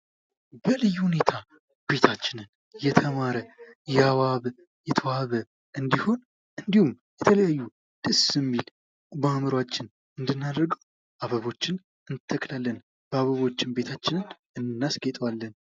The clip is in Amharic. በልዩ ሁኔታ ቤታችንን የተማረ ፣ ያዋበ፣ የተዋበ እንዲሆን እንዲሁም የተለያዩ ደስ የሚል በአእምሯችን እንድናደርግ አበቦችን እንተክላለን። በአበቦችም ቤታችንን እናስጌጠዋለን።